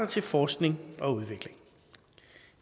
til forskning og udvikling